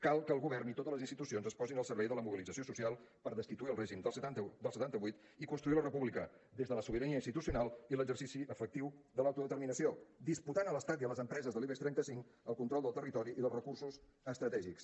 cal que el govern i totes les institucions es posin al servei de la mobilització social per destituir el règim del setanta vuit i construir la república des de la sobirania institucional i l’exercici efectiu de l’autodeterminació disputant a l’estat i a les empreses de l’ibex trenta cinc el control del territori i dels recursos estratègics